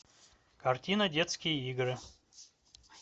картина детские игры